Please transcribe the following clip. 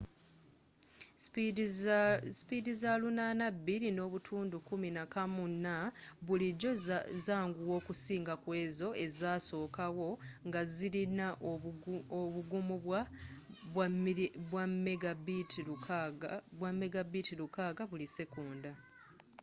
sipiidi za 802.11n bulijjo zanguwa okusinga kkwezo ezasookawo ngazirina obugumu bwa 600mbit/s